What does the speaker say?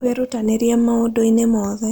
Wĩrutanĩrie maũndũ-inĩ mothe.